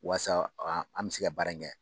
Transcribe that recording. Walasa an bɛ se ka baara in kɛ